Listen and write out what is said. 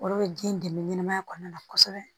Olu bɛ den dɛmɛ ɲɛnɛmaya kɔnɔna na kosɛbɛ